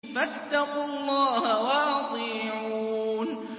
فَاتَّقُوا اللَّهَ وَأَطِيعُونِ